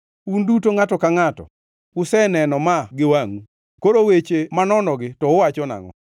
Un duto ngʼato ka ngʼato useneno ma gi wangʼu koro weche manonogi to uwacho nangʼo?